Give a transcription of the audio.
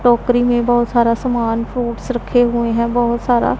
टोकरी में बहोत सारा सामान फ्रूट्स रखे हुए हैं बहोत सारा--